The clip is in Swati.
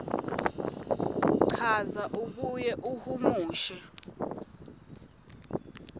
chaza abuye ahumushe